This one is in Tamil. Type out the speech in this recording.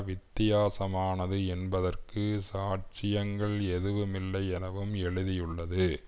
வித்தியாசமானது என்பதற்கு சாட்சியங்கள் எதுவுமில்லை எனவும் எழுதியுள்ளது